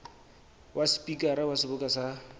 wa sepikara wa seboka sa